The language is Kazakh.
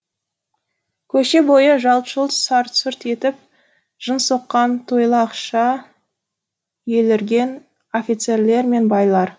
көше бойы жалт жұлт сарт сұрт етіп жын соққан елірген офицерлер мен байлар